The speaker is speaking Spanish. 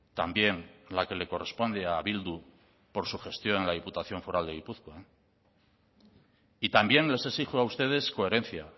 también la que le corresponde a bildu por su gestión en la diputación foral de gipuzkoa y también les exijo a ustedes coherencia